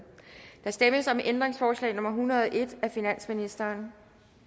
der stemmes om ændringsforslag nummer en hundrede og en af finansministeren